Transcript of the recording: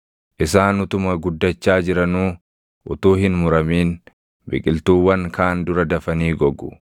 Isaan utuma guddachaa jiranuu, utuu hin muramin, biqiltuuwwan kaan dura dafanii gogu.